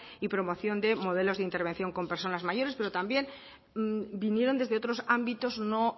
y promoción de modelos de intervención con personas mayores pero también vinieron desde otros ámbitos no